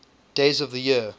days of the year